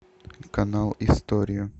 канал история